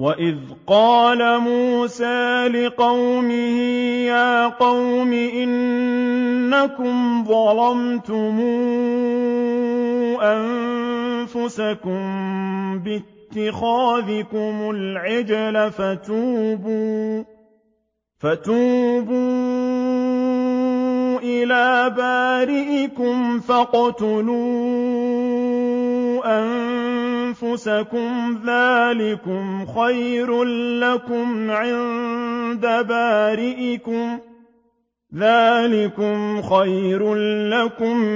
وَإِذْ قَالَ مُوسَىٰ لِقَوْمِهِ يَا قَوْمِ إِنَّكُمْ ظَلَمْتُمْ أَنفُسَكُم بِاتِّخَاذِكُمُ الْعِجْلَ فَتُوبُوا إِلَىٰ بَارِئِكُمْ فَاقْتُلُوا أَنفُسَكُمْ ذَٰلِكُمْ خَيْرٌ لَّكُمْ